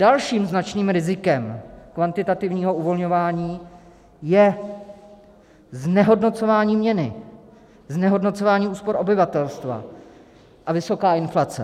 Dalším značným rizikem kvantitativního uvolňování je znehodnocování měny, znehodnocování úspor obyvatelstva a vysoká inflace.